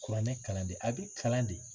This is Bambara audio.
Kuranɛ kalan de a bɛ kalan de